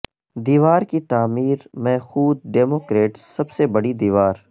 دیوار کی تعمیر میںخود ڈیموکریٹس سب سے بڑی دیوار